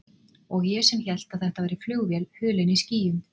Og ég sem hélt að þetta væri flugvél hulin í skýjum.